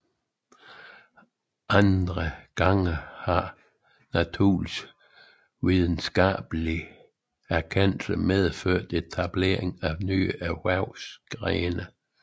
Andre gange har naturvidenskabelig erkendelse medført etableringen af nye erhvervsgrene